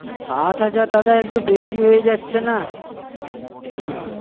সাত হাজার দাদা একটু বেশি হয়ে যাচ্ছে না?